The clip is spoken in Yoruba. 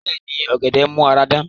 Bẹ́ẹ̀ni, ọ̀gẹ̀dẹ̀ n mú ara dán